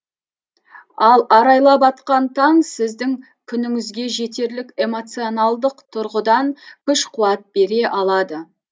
ал арайлап атқан таң сіздің күніңізге жетерлік эмоционалдық тұрғыдан күш қуат бере алады